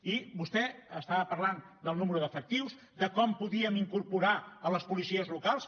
i vostè estava parlant del nombre d’efectius de com podíem incorporar a les policies locals